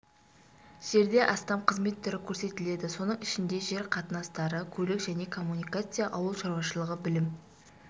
жерде астам қызмет түрі көрсетіледі соның ішінде жер қатынастары көлік және коммуникация ауыл шаруашылығы білім